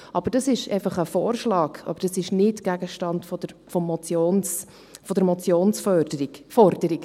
Doch das ist einfach ein Vorschlag, aber nicht Gegenstand der Motionsforderung.